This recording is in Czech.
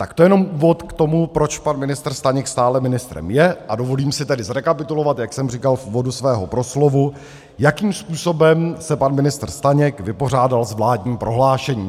Tak to jenom úvod k tomu, proč pan ministr Staněk stále ministrem je, a dovolím si tedy zrekapitulovat, jak jsem říkal v úvodu svého proslovu, jakým způsobem se pan ministr Staněk vypořádal s vládním prohlášením.